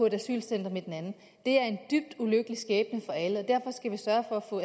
et asylcenter med den anden det er en dybt ulykkelig skæbne for alle derfor skal vi sørge for at få